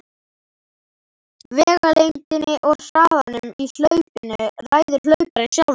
Vegalengdinni og hraðanum í hlaupinu ræður hlauparinn sjálfur.